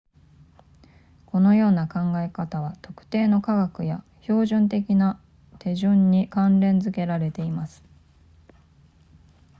このような考え方は特定の科学や標準的な手順に関連付けられています